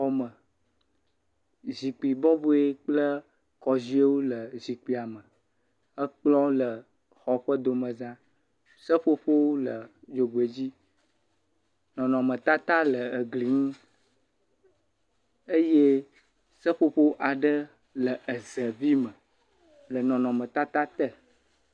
xɔ me zikpi bɔboewo kple kɔzuiewo le zikpia me ekplɔ le xɔ ƒe domezã seƒoƒowo le xɔ ƒe dzogoedzi nɔnɔme tata le egli ŋu eye seƒoƒo aɖe le eze vi me le nɔnɔme tata te